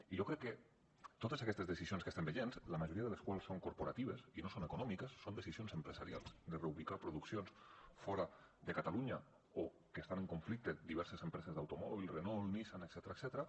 i jo crec que totes aquestes decisions que estem veient la majoria de les quals són corporatives i no són econòmiques són decisions empresarials de reubicar produccions fora de catalunya o que estan en conflicte diverses empreses d’automòbils renault nissan etcètera